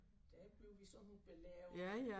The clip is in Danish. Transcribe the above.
Der bliver vi så belært af dem